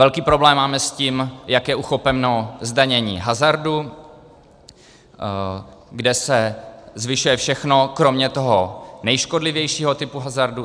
Velký problém máme s tím, jak je uchopeno zdanění hazardu, kde se zvyšuje všechno kromě toho nejškodlivějšího typu hazardu.